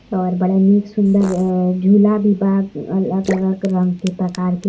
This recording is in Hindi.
और बड़ा नीक सुन्दर अ झूला भी बा अलग अलग रंग के प्रकार के--